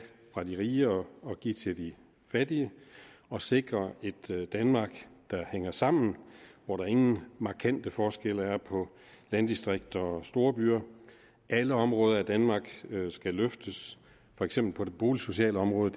fra de rige og give til de fattige og sikre et danmark der hænger sammen og hvor der ingen markante forskelle er på landdistrikter og storbyer alle områder i danmark skal løftes for eksempel på det boligsociale område